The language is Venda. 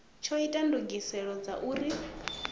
tsho ita ndugiselo dza uri